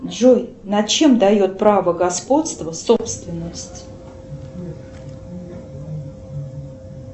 джой над чем дает право господства собственность